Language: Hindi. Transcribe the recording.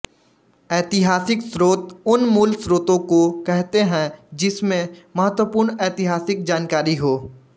ऐतिहासिक स्रोत उन मूल स्रोतों को कहते हैं जिसमें महत्वपूर्ण ऐतिहासिक जानकारी हो